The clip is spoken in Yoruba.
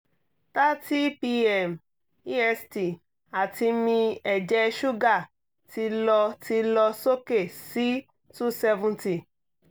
thirty pm est ati mi ẹjẹ suga ti lọ ti lọ soke si two seventy